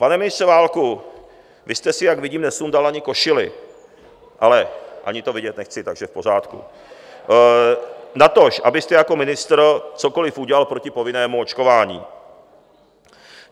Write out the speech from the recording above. Pane ministře Válku, vy jste si, jak vidím, nesundal ani košili - ale ani to vidět nechci, takže v pořádku - natož abyste jako ministr cokoli udělal proti povinnému očkování.